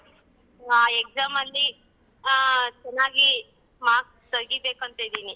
ಆ exam ಅಲ್ಲಿ ಹ ಚೆನ್ನಾಗಿ marks ತಗಿಬೇಕು ಅಂತ ಇದಿನಿ.